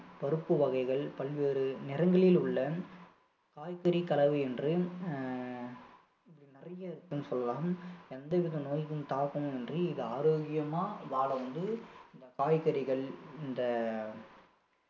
பருப்பு வகைகள் பல்வேறு நிறங்களில் உள்ள காய்கறி கலவை என்று அஹ் இப்படி நிறைய இருக்குன்னு சொல்லலாம் எந்த வித நோய்களின் தாக்கமும் இன்றி இது ஆரோக்கியமா வாழ வந்து இந்த காய்கறிகள் இந்த